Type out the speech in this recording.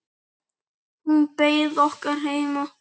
Hún beið okkar heima.